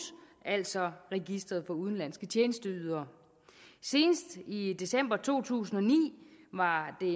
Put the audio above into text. altså registret for udenlandske tjenesteydere senest i december to tusind og ni var det